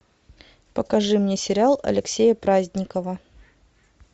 покажи мне сериал алексея праздникова